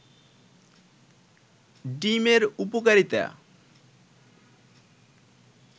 ডিম এর উপকারিতা